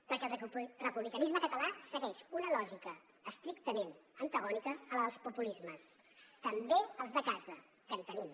perquè el republicanisme català segueix una lògica estrictament antagònica a la dels populismes també els de casa que en tenim